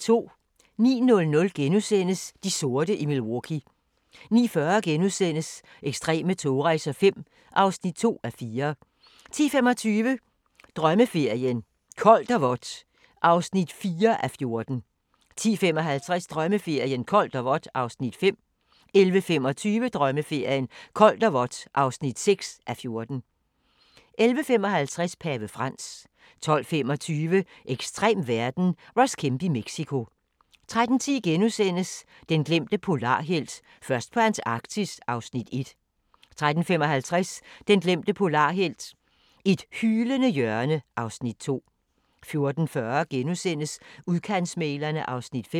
09:00: De sorte i Milwaukee * 09:40: Ekstreme togrejser V (2:4)* 10:25: Drømmeferien: Koldt og vådt (4:14) 10:55: Drømmeferien: Koldt og vådt (5:14) 11:25: Drømmeferien: Koldt og vådt (6:14) 11:55: Pave Frans 12:25: Ekstrem verden - Ross Kemp i Mexico 13:10: Den glemte polarhelt: Først på Antarktis (Afs. 1)* 13:55: Den glemte polarhelt: Et hylende hjørne (Afs. 2) 14:40: Udkantsmæglerne II (5:10)